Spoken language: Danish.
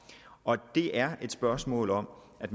og at det er et spørgsmål om at